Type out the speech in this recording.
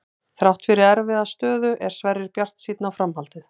Þrátt fyrir erfiða stöðu er Sverrir bjartsýnn á framhaldið.